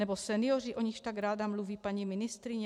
Nebo senioři, o nichž tak ráda mluví paní ministryně?